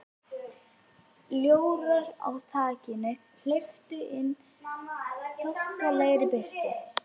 Ljórar á þakinu hleyptu inn þokkalegri birtu.